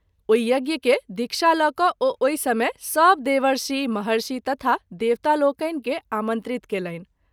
ओहि यज्ञ के दीक्षा ल’ क’ ओ ओहि समय सभ देवर्षि, महर्षि तथा देवतालोकनि के आमंत्रित कएलनि।